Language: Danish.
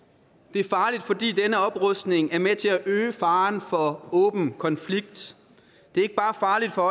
det er farligt fordi denne oprustning er med til at øge faren for åben konflikt det er ikke bare farligt for